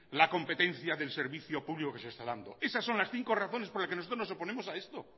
la competencia del servicio público que se está dando esas son las cinco razones por las que nosotros nos oponemos a esto